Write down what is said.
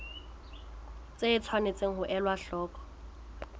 tse tshwanetseng ho elwa hloko